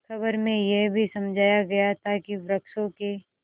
खबर में यह भी समझाया गया था कि वृक्षों के